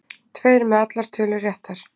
Tveir með allar tölur réttar